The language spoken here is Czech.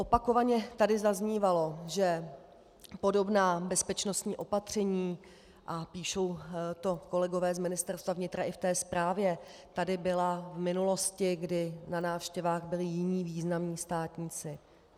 Opakovaně tady zaznívalo, že podobná bezpečnostní opatření, a píšou to kolegové z Ministerstva vnitra i v té zprávě, tady byla v minulosti, kdy na návštěvách byli jiní významní státníci.